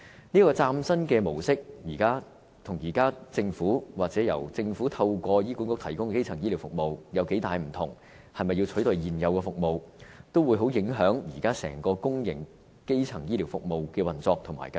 這個嶄新的模式，跟現時政府，或政府透過醫管局提供的基層醫療服務有多大分別、是否要取代現有服務，也會相當影響現時整個公營基層醫療服務的運作和計劃。